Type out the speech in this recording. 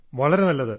വളരെ നല്ലത്